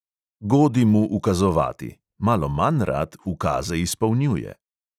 Godi mu ukazovati, malo manj rad ukaze izpolnjuje.